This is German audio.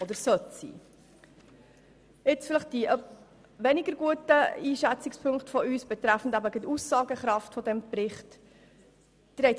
Ich komme zu der etwas weniger gut eingeschätzten Aussagekraft dieses Berichts.